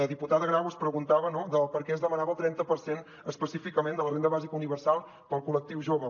la diputada grau es preguntava no de per què es demanava el trenta per cent específicament de la renda bàsica universal per al col·lectiu jove